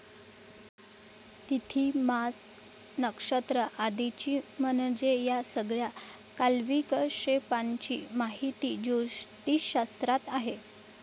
तिथी, मास, नक्षत्र आदींची म्हणजे या सगळ्या काल्विकशेपांची माहिती ज्योतिषशास्त्रात आहे.